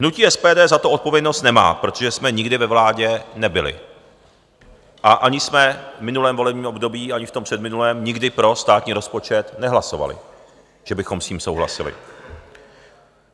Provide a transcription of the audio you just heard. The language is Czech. Hnutí SPD za to odpovědnost nemá, protože jsme nikdy ve vládě nebyli a ani jsme v minulém volebním období ani v tom předminulém nikdy pro státní rozpočet nehlasovali, že bychom s tím souhlasili.